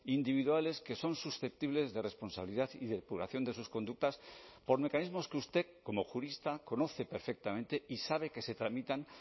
individuales que son susceptibles de responsabilidad y depuración de sus conductas por mecanismos que usted como jurista conoce perfectamente y sabe que se tramitan